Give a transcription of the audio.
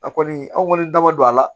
A kɔni an kɔni daba don a la